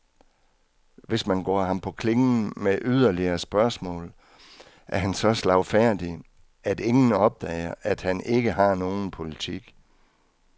Hvis man går ham på klingen med yderligere spørgsmål, er han så slagfærdig, at ingen opdager, at han ikke har nogen politik.